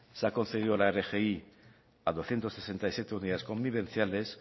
se ha concedido la rgi a doscientos sesenta y siete unidades convivenciales